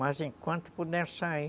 Mas enquanto puder sair,